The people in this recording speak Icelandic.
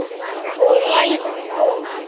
Og ræðan kom.